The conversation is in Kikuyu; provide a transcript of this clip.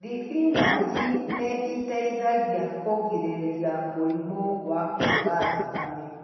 Thibĩnaji nĩ ĩteithagia kũgirĩrĩria mũrimũ wa kwaga thakame.